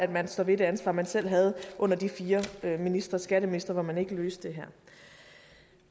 man står ved det ansvar man selv havde under de fire skatteministre skatteministre hvor man ikke løste det her